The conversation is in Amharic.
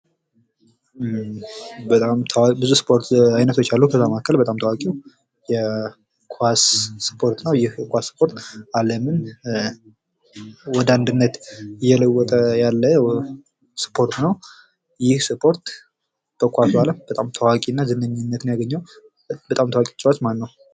በጣም ታዋቂ ብዙ የስፖርት አይነት አሉ ከዛም መካከል በጣም ታዋቂው የስፖርት የኳስ ስፖርት ነው። ይህ የኳስ ስፖርት አለምን ወደ አንድነት እየለወጠ ያለ ስፖርት ነው፤ ይህ ስፖርት በኳሱ አለም በጣም ታዋቂነትን እና ዝነኝነትን ያገኘው በጣም ታዋቂ ተጫዋች ማነው?